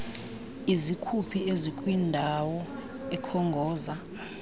izikhuphi ezikwindawo ekhongoza